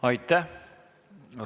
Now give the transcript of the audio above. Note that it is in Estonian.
Aitäh!